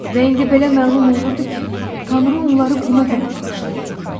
Və indi belə məlum olurdu ki, Tanrı onları buna görə bağışlaya bilmir.